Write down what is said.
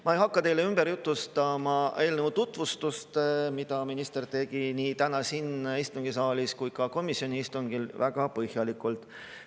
Ma ei hakka teile ümber jutustama eelnõu tutvustust, seda tegi minister nii täna siin istungisaalis kui ka komisjoni istungil väga põhjalikult.